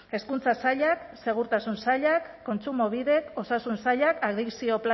hezkuntza sailak segurtasun sailak kontsumobidek osasun sailak adikzio